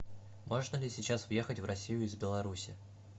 можно ли сейчас въехать в россию из беларуси